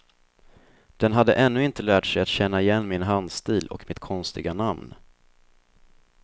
Den hade ännu inte lärt sig att känna igen min handstil och mitt konstiga namn.